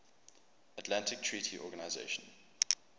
atlantic treaty organisation